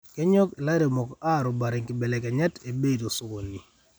kenyok ilairemok arobare nkibelekenyat ebei tosokoni